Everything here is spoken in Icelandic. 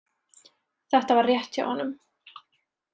Þetta var rétt hjá honum.